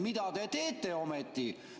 Mida te teete ometi?